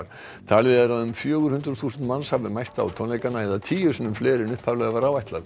talið er að um fjögur hundruð þúsund manns hafi mætt á tónleikana eða tíu sinnum fleiri en upphaflega var